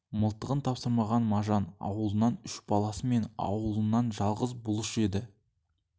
мылтығын тапсырмаған мажан аулынан үш баласы мен ауылынан жалғыз бұлыш еді